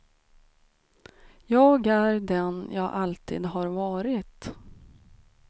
Jag är den jag alltid har varit.